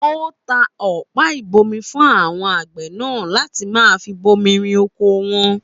Ó ta ọ̀pá-ìgbómi fún àwon àgbẹ̀ nàá láti maa fi bomirin oko won.